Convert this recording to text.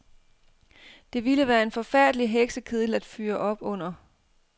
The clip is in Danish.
Det ville være en forfærdelig heksekedel at fyre op under.